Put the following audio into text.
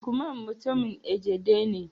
lukman mutumin Egede ne